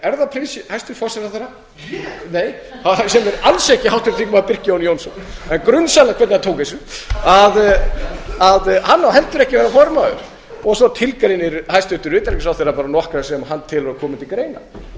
hæstvirtur forsætisráðherra ég nei sem er alls ekki háttvirtur þingmaður birkir jón jónsson en grunsamlegt hvernig hann tók þessu hann á heldur ekki að vera formaður svo tilgreinir hæstvirts utanríkisráðherra bara nokkra sem hann telur að komi til greina ég er